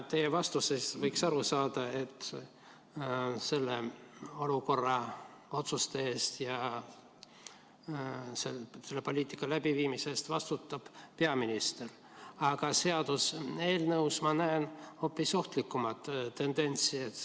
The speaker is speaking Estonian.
Teie vastustest võiks aru saada, et selles olukorras otsuste eest ja selle poliitika läbiviimise eest vastutab peaminister, aga seaduseelnõus ma näen hoopis ohtlikumat tendentsi.